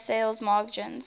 high sales margins